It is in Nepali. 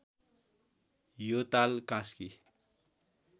यो ताल कास्की